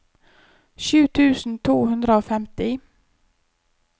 sju tusen to hundre og femti